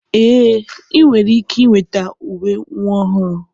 Ee, ị nwere ike weta uwe nwa ọhụrụ